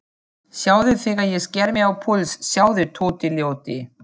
Sjáðu þegar ég sker mig á púls, sjáðu, Tóti ljóti.